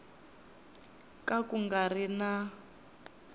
ka ku nga ri na